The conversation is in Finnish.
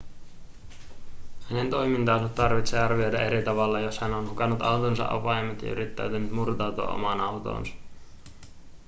hänen toimintaansa tarvitsee arvioida eri tavalla jos hän on hukannut autonsa avaimet ja yrittää murtautua omaan autoonsa